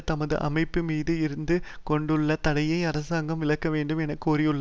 தமது அமைப்பு மீது இருந்து கொண்டுள்ள தடையை அரசாங்கம் விலக்க வேண்டும் என கோரியுள்ளா